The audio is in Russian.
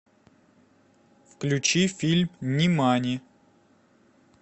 включи фильм нимани